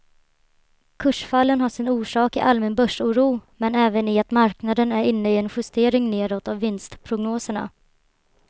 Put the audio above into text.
Kursfallen har sin orsak i allmän börsoro men även i att marknaden är inne i en justering nedåt av vinstprognoserna.